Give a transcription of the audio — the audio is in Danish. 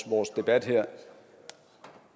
vores debat her